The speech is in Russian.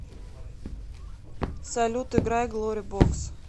салют играй глори бокс